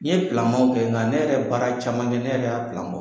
N ye pilamaw kɛ ŋa ne yɛrɛ ye baara caman kɛ ne yɛrɛ y'a bɔ.